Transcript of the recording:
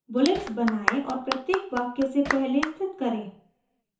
bullets बनाएं और प्रत्येक वाक्य से पहले स्थित करें